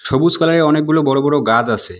সবুজ কালারের অনেকগুলো বড়ো বড়ো গাজ আছে।